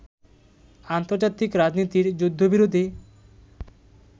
আন্তর্জাতিক রাজনীতির যুদ্ধবিরোধী